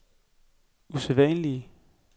usædvanlig